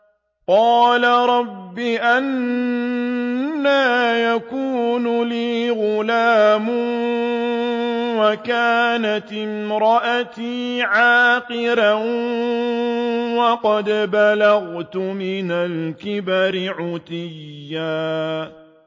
قَالَ رَبِّ أَنَّىٰ يَكُونُ لِي غُلَامٌ وَكَانَتِ امْرَأَتِي عَاقِرًا وَقَدْ بَلَغْتُ مِنَ الْكِبَرِ عِتِيًّا